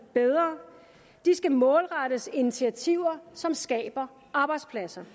bedre de skal målrettes initiativer som skaber arbejdspladser